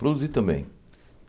Produzir também.